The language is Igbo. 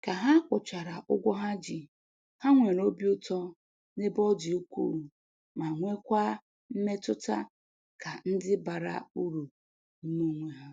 Ka ha kwụchara ụgwọ ha ji, ha nwere obi ụtọ n'ebe ọ dị ukwuu ma nwekwa mmetụta ka ndị bara uru n'ime onwe ha